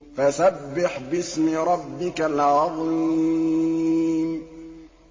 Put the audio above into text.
فَسَبِّحْ بِاسْمِ رَبِّكَ الْعَظِيمِ